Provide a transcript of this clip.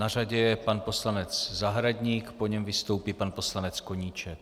Na řadě je pan poslanec Zahradník, po něm vystoupí pan poslanec Koníček.